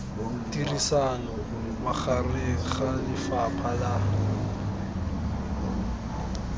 tirisano magareng ga lefapha la